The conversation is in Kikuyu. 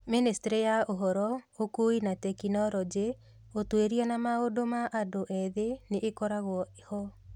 Ministry ya ũhoro, ũkuui na tekinoronjĩ, ũtuĩria na maũndũ ma andũ ethĩ nĩ ĩkoragwo ho.